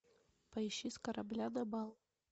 поищи с корабля на бал